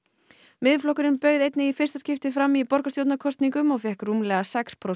Miðflokkurinn bauð einnig í fyrsta skipti fram í borgarstjórnarkosningum og fékk rúmlega sex prósent